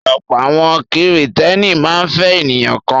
Ọ̀pọ̀ àwọn Kìrìtẹ́ẹ́nì máa ń fẹ́ ènìyàn kan.